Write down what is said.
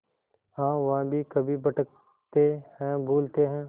हाँ वह भी कभी भटकते हैं भूलते हैं